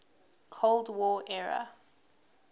cold war era